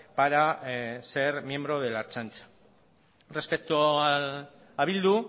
para ser miembro de la ertzaintza respecto a bildu